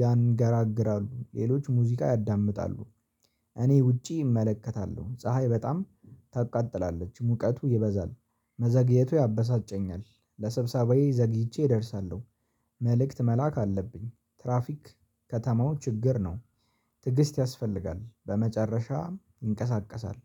ያንገራግራሉ ሌሎች ሙዚቃ ያዳምጣሉ። እኔ ውጪ እመለከታለሁ። ፀሀይ በጣም ታቃጥላለች። ሙቀቱ ይበዛል። መዘግየቱ ያበሳጨኛል። ለስብሰባዬ ዘግይቼ እደርሳለሁ። መልእክት መላክ አለብኝ። ትራፊክ ከተማው ችግር ነው። ትዕግስት ያስፈልጋል። በመጨረሻም ይንቀሳቀሳል።